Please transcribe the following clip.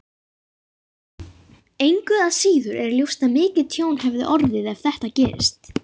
Engu að síður er ljóst að mikið tjón hefði orðið ef þetta gerist.